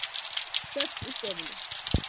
Þögn í stofunni.